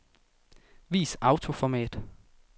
Vis autoformat.